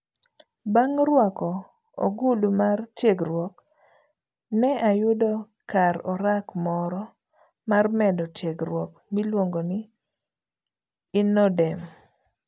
Bang' ruako ogudu mar tiegruok, ne ayudo kar orak moro mar medo tiegruok miluongo ni INNODEM.